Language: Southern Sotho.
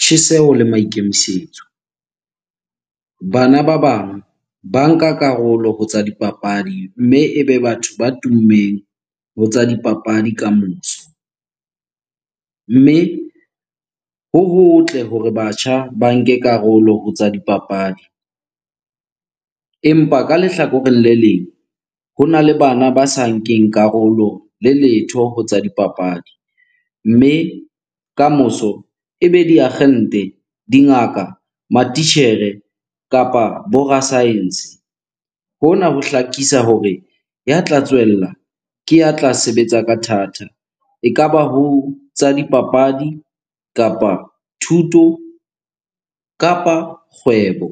tjheseho le maikemisetso. Bana ba bang ba nka karolo ho tsa dipapadi mme e be batho ba tummeng ho tsa dipapadi kamoso. Mme ho hotle hore batjha ba nke karolo ho tsa dipapadi empa ka lehlakoreng le leng hona le bana ba sa nkeng karolo le letho ho tsa dipapadi. Mme kamoso e be diakgente, dingaka, matitjhere kapa bo ra-science. Hona ho hlakisa hore ya tla tswella ke ya tla sebetsa ka thata, ekaba ho tsa dipapadi, kapa thuto kapa kgwebo.